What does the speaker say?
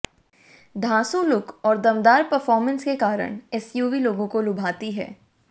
धांसू look और दमदार performance के कारण एसयूवी लोगों को लुभाती है